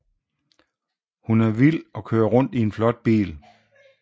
Hun er vild og kører rundt i en flot bil